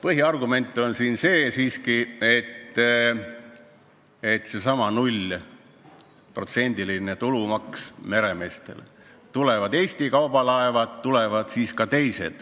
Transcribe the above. Põhiargument on see, et seesama meremeeste nullprotsendiline tulumaks meelitab Eesti lipu alla ka teisi laevu.